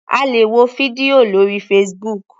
A lè wo fídíò lórí Facebook.